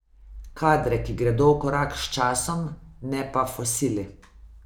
Kadre, ki gredo v korak s časom, ne pa fosile.